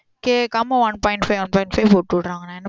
கேக்காம one point five one point five பொட்டு விட்ராங்க னா என்ன பண்ண